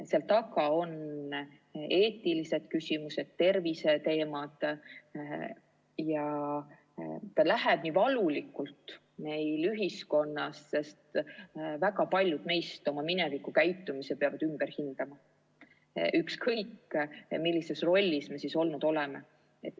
Seal taga on eetilised küsimused, terviseteemad, ja see läheb meie ühiskonnas nii valulikult, sest väga paljud meist peavad oma kunagise käitumise ümber hindama, ükskõik millises rollis me siis olnud oleme.